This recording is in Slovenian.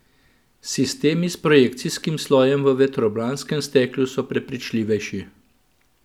Sistemi s projekcijskim slojem v vetrobranskem steklu so prepričljivejši!